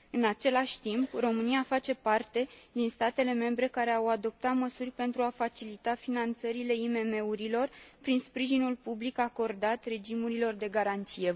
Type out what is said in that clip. În același timp, România face parte din statele membre care au adoptat măsuri pentru a facilita finanțările IMM urilor prin sprijinul public acordat regimurilor de garanție.